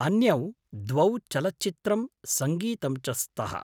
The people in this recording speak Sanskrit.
अन्यौ द्वौ चलच्चित्रं, सङ्गीतं च स्तः।